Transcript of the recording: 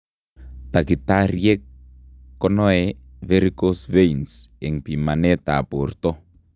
Dakitariek konoe varicose veins eng bimanet ab borto